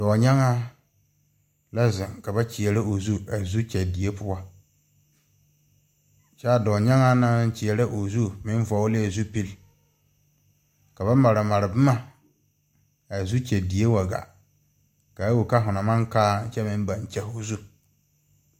Doɔnyaagãã la zeng ka ba kyeɛrɛ ɔ zu a zu kye die pou kye a doɔnyaagãã na meng nan kyeɛrɛ ɔ zu meng vɔgle zupili ka ba mare mare buma a zukyɛ die wa gaa kaa wuli ka hu na mang kaa kye meng bang kye hu zu.